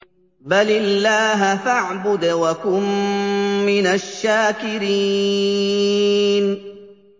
بَلِ اللَّهَ فَاعْبُدْ وَكُن مِّنَ الشَّاكِرِينَ